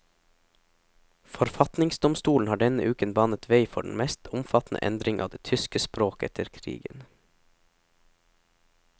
Forfatningsdomstolen har denne uken banet vei for den mest omfattende endring av det tyske språk etter krigen.